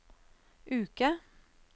uke